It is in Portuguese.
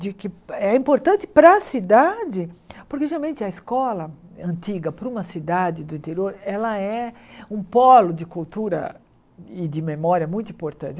De que é importante para a cidade, porque, geralmente, a escola antiga para uma cidade do interior ela é um polo de cultura e de memória muito importante.